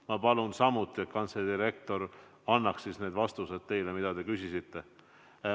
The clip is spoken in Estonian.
Ma palun samuti, et kantselei direktor annaks vastused küsimustele, mis te küsisite.